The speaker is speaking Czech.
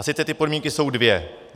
A sice ty podmínky jsou dvě.